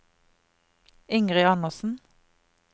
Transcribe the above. Ingrid Andersen